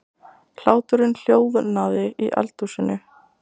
Hláturinn hljóðnaði í eldhúsinu.